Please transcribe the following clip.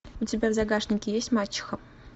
у тебя в загашнике есть мачеха